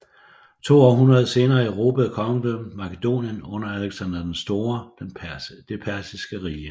To århundreder senere erobrede Kongedømmet Makedonien under Aleksander den Store det persiske rige